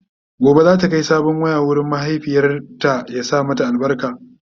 Gobe zata Kai sabon wayan wurin mahaifiyata ya sa albarka